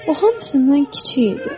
O hamısından kiçik idi.